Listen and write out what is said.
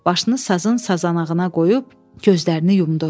Başını sazın sazanağına qoyub, gözlərini yumdu.